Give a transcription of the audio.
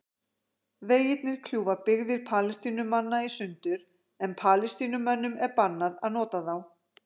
Vegirnir kljúfa byggðir Palestínumanna í sundur en Palestínumönnum er bannað að nota þá.